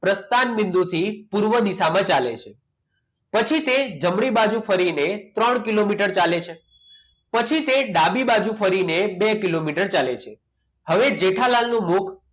પ્રસ્થાની બિંદુથી પૂર્વ દિશામાં ચાલે છે પછી તે જમણી બાજુ ફરીને ત્રણ કિલોમીટર ચાલે છે પછી તે ડાબી બાજુ ફરીને બે કિલોમીટર ચાલે છે હવે જેઠાલાલ નું મુખ